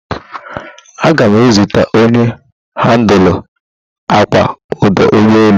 Agam ma ezute onye handụla akpa ọdụ ụgbọ elu.